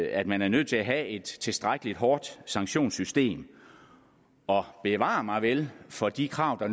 at man er nødt til at have et tilstrækkelig hårdt sanktionssystem og bevar mig vel for de krav der